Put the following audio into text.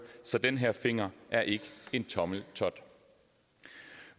så den her finger er ik en tommeltot